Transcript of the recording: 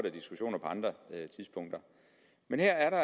af diskussioner på andre tidspunkter men her